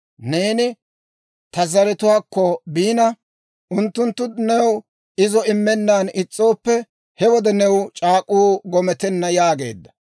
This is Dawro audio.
Neeni ta zaratuwaakko biina, unttunttu new izo immennan is's'ooppe, he wode new c'aak'uu gometenna› yaageedda.